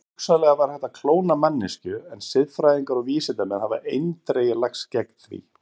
Hugsanlega væri hægt að klóna manneskju en siðfræðingar og vísindamenn hafa eindregið lagst gegn því.